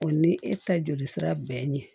O ni e ta joli sira bɛnna